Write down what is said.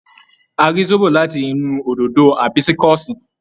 A rí zobo láti inú òdòdó Àbísíkúsí.